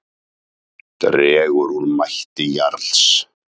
Dregur úr mætti Jarls